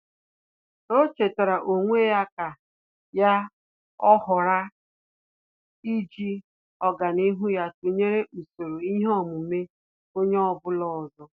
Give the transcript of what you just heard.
Ọ́ chètàrà onwe ya kà yá ọghara íjí ọ́gànihu ya tụnyere usoro ihe omume onye ọ bụla ọzọ.